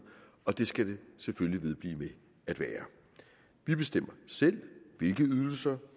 og det skal det selvfølgelig vedblive med at være vi bestemmer selv hvilke ydelser